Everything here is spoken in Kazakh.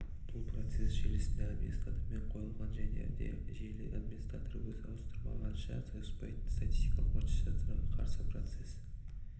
бұл процесс желісі администратормен қойылған және де желі администраторы өзі ауыстырмағанша ауыспайтын статикалық маршрутизацияға қарсы процесс